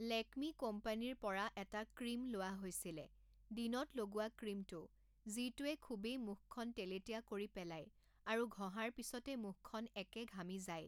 লেকমি কোম্পানিৰ পৰা এটা ক্ৰীম লোৱা হৈছিলে, দিনত লগোৱা ক্ৰীমটো, যিটোয়ে খুবেই মুখখন তেলেতীয়া কৰি পেলায় আৰু ঘঁহাৰ পিছতে মুখখন একে ঘামি যায়